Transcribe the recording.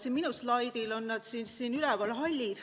Siin minu slaidil on need siin üleval, hallid.